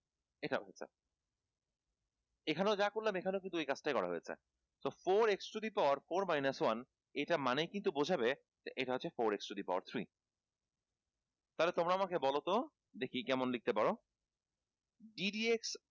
এখানেও যা করলাম এখানেও কিন্তু সেই কাজটাই করা হয়েছে তো four x to the power four minus one এটার মানে কিন্তু বোঝাবে এটা হচ্ছে four x to the power three তাহলে তোমরা আমাকে বলতো দেখি কেমন লিখতে পারো ddx